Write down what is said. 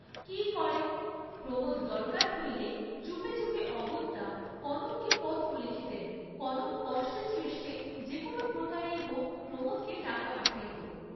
কি করেন, প্রমোদ দরকার হইলেই চুপে চুপে অগত্যা কনককে পত্র লিখিতেন, কনক কষ্টে সৃষ্টে যে কোন প্রকারেই হউক প্রমোদকে টাকা পাঠাইত।